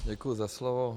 Děkuji za slovo.